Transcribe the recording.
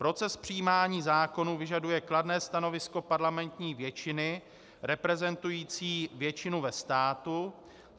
Proces přijímání zákonů vyžaduje kladné stanovisko parlamentní většiny reprezentující většinu ve státu.